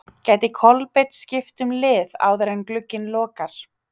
Gæti Kolbeinn skipt um lið áður en glugginn lokar?